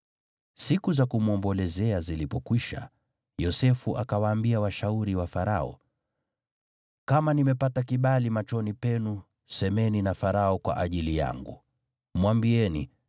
Siku za kumwombolezea zilipokwisha, Yosefu akawaambia washauri wa Farao, “Kama nimepata kibali machoni penu semeni na Farao kwa ajili yangu. Mwambieni,